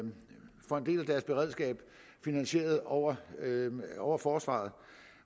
deres beredskab finansieret over over forsvaret